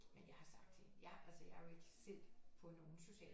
Men jeg har sagt til hende jeg altså jeg er jo ikke selv på nogen sociale